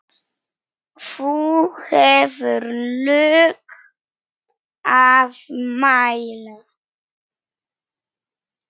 þú hefur lög að mæla